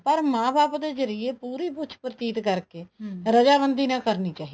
ਪਰ ਮਾਂ ਬਾਪ ਦੇ ਜ਼ਰੀਏ ਪੂਰੀ ਪੁੱਛ ਪੜਤਾਲ ਕਰਕੇ ਨਾਲ ਕਰਨੀ ਚਾਹੀਦੀ